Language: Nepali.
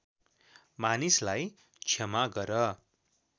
मानिसलाई क्षमा गर